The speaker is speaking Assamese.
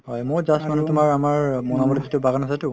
মই just মানে তুমাৰ আমাৰ বাগান আছেতো